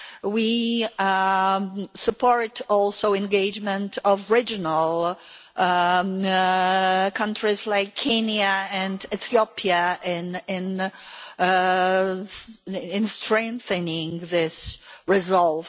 We also support engagement of regional countries like Kenya and Ethiopia in strengthening this resolve.